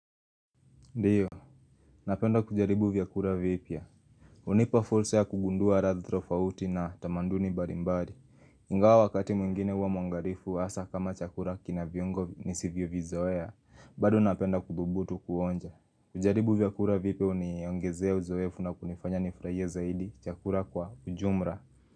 Ndiyo, napenda kujaribu vyakuoa vipya. Unipa fursa ya kugundua radhi tofauti na tamanduni mbarimbari. Ingawa wakati mwingine wa mwangarifu asa kama chakura kina viongo ni sivyo vizoea. Bado napenda kuthubutu kuonja. Kujaribu vyakura vipia uniongezea uzoefu na kunifanya nifraie zaidi chakura kwa ujumra.